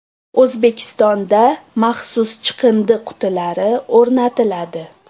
O‘zbekistonda maxsus chiqindi qutilari o‘rnatiladi.